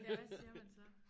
Ja hvad siger man så